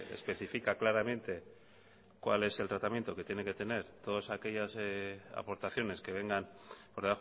especifica claramente cuál es el tratamiento que tiene que tener todas aquellas aportaciones que vengan por